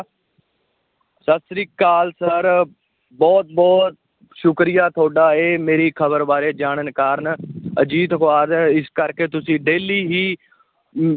ਸਤਿ ਸ੍ਰੀ ਅਕਾਲ sir ਬਹੁਤ ਬਹੁਤ ਸ਼ੁਕਰੀਆ ਤੁਹਾਡਾ, ਇਹ ਮੇਰੀ ਖਬਰ ਬਾਰੇ ਜਾਣਨ ਕਾਰਨ ਅਜੀਤ ਅਖਬਾਰ, ਇਸ ਕਰਕੇ ਤੁਸੀਂ daily ਹੀ ਅਮ